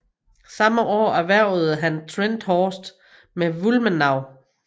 Samme år erhvervede han Trenthorst med Wulmenau